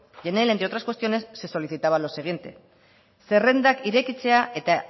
y en él entre otras cuestiones se solicitaba lo siguiente zerrendak irekitzea eta